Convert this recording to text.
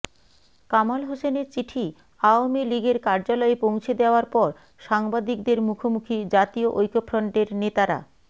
কামাল হোসেনের চিঠি আওয়ামী লীগের কার্যালয়ে পৌঁছে দেওয়ার পর সাংবাদিকদের মুখোমুখি জাতীয় ঐক্যফ্রন্টের নেতারা